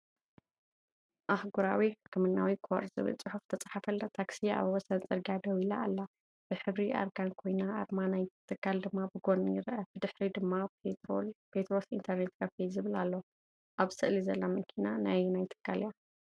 “ኣህጉራዊ ሕክምናዊ ኮር” ዝብል ጽሑፍ ዝተጻሕፈላ ታክሲ ኣብ ወሰን ጽርግያ ደው ኢላ ኣላ። ብሕብሪ ኣርጋን ኮይና፡ ኣርማ ናይ’ቲ ትካል ድማ ብጎኒ ይርአ። ብድሕሪ ድማ “ፔትሮስ ኢንተርኔት ካፌ” ዝብል ኣሎ። ኣብ ስእሊ ዘላ መኪና ናይ ኣየናይ ትካል እያ?